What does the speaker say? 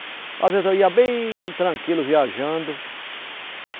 Às vezes eu ia bem tranquilo, viajando.